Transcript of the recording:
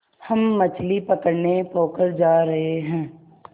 हम मछली पकड़ने पोखर जा रहें हैं